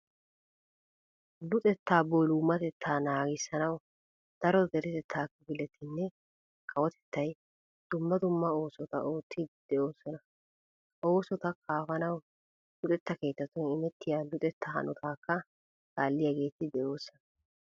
Luxettaa boolumatettaa naagissanawu daro deretettaa kifiletinne kawotettay dumma dumma oosot oottiiddi de'oosona. Ha oosota kaafanawu luxetta keettatun imettiya luxettaa hanotaakka kaalliyageeti de'oosona.